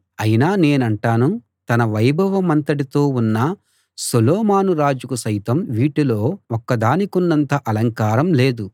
అయినా నేనంటాను తన వైభవమంతటితో ఉన్న సొలొమోను రాజుకు సైతం వీటిలో ఒక్క దానికున్నంత అలంకారం లేదు